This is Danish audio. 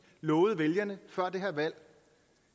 lovede vælgerne før det her valg